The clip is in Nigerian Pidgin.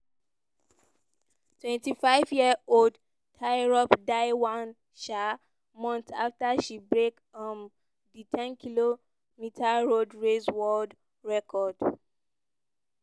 twenty -five-year-old tirop die one um month afta she break um di 10km road race world record.